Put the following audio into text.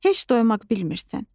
Heç doymaq bilmirsən.